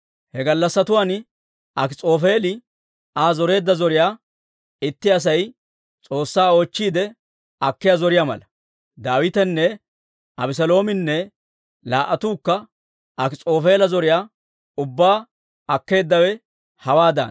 He gallassatuwaan Akis'oofeeli Aa zoreedda zoriyaa itti Asay S'oossaa oochchiide akkiyaa zoriyaa mala. Daawitenne Abeseloominne laa"attuukka Akis'oofeela zoriyaa ubbaa akkeeddawe hawaadaana.